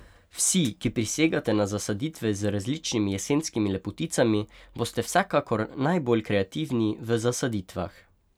Vsi, ki prisegate na zasaditve z različnimi jesenskimi lepoticami boste vsekakor najbolj kreativni v zasaditvah.